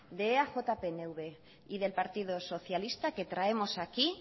de eaj pnv y del partido socialista que traemos aquí